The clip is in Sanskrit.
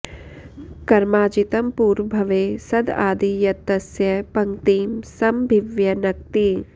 कर्माजितं पूर्व भवे सद् आदि यत् तस्य पङ्क्तिं समभिव्यनक्ति